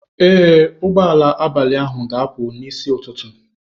Ee, ụgbọ ala abalị ahụ ga-apụ n'isi ụtụtụ.